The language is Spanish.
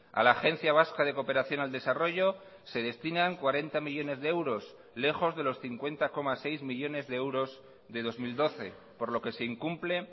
a la agencia vasca de cooperación al desarrollo se destinan cuarenta millónes de euros lejos de los cincuenta coma seis millónes de euros de dos mil doce por lo que se incumple